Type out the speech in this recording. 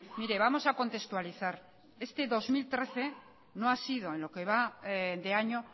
mire vamos a contextualizar este dos mil trece no ha sido en lo que va de año